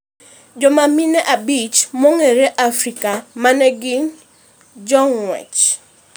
Joma mine abich ma ong'ere Afrika ma ne gin jong'wech